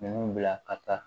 Ninnu bila ka taa